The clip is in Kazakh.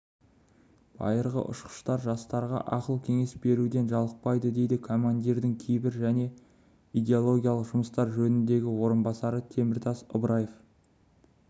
байырғы ұшқыштар жастарға ақыл-кеңес беруден жалықпайды дейді командирдің тәрбие және идеологиялық жұмыстар жөніндегі орынбасары теміртас ыбраев